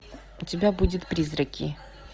у тебя будет призраки